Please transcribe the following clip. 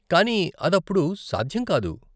కానీ అదప్పుడు సాధ్యం కాదు.